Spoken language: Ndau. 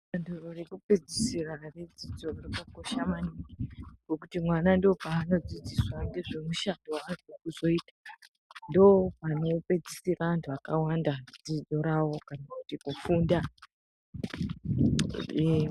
Danto rekupedzisira redzidzo yepamusoro rakakosha maningi ngekuti mwana ndopaanodzidziswa ngezvemushando waanoda kuzoita. Ndopanopedzisira antu akawanda dzidzo rwao kana kuti kufunda.